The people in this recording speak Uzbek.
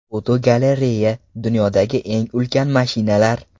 Fotogalereya: Dunyodagi eng ulkan mashinalar.